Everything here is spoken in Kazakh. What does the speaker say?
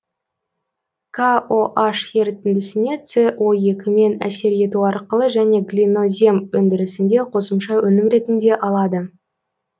кон ерітіндісіне со екімен әсер ету арқылы және глинозем өндірісінде қосымша өнім ретінде алады